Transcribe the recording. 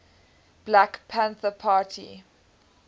black panther party